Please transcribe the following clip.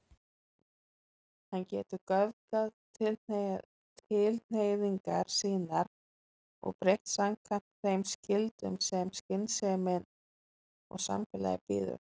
Hann getur göfgað tilhneigingar sínar og breytt samkvæmt þeim skyldum sem skynsemin og samfélagið býður.